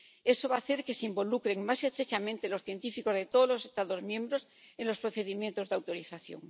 Eso va a hacer que se involucren más estrechamente los científicos de todos los Estados miembros en los procedimientos de autorización.